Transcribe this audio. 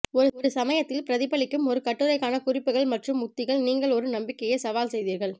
ஒரு சமயத்தில் பிரதிபலிக்கும் ஒரு கட்டுரைக்கான குறிப்புகள் மற்றும் உத்திகள் நீங்கள் ஒரு நம்பிக்கையை சவால் செய்தீர்கள்